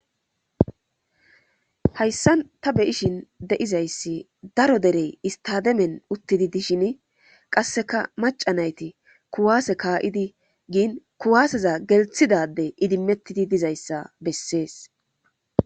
hayssan ta beyishin de7izayssi daro derey istademen uttidi dishin qasseka maca nayti kuwaase kaa7idi giin kuwaaseza gelthidade idimettidi dizayssa bessees